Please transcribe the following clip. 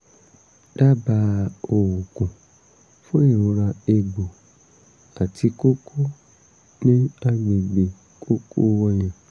dábàá oògùn fún ìrora egbò àti kókó ní agbègbè kókó ọyàn